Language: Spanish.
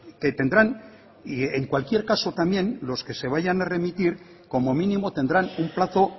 que tendrán y en cualquier caso también los que se vayan a remitir como mínimo tendrán un plazo